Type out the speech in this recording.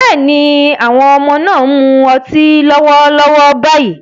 Bẹ́ẹ̀ni, àwọn ọmọ náà ń mu ọtí lọ́wọ́lọ́wọ́ báyìí